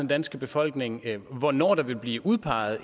danske befolkning om hvornår der vil blive udpeget